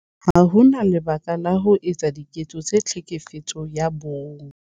Ha ho na lebaka la ho etsa diketso tsa Tlhekefetso ya Bong.